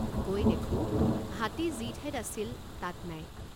গৈ দেখোঁ হাতী যি ঠাইত আছিল তাত নাই।